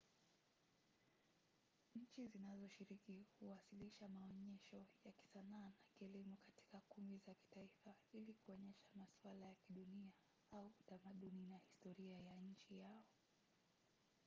nchi zinazoshiriki huwasilisha maonyesho ya kisanaa na kielimu katika kumbi za kitaifa ili kuonyesha masuala ya kidunia au utamaduni na historia ya nchi yao